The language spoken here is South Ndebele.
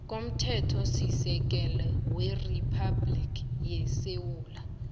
komthethosisekelo weriphabhligi yesewula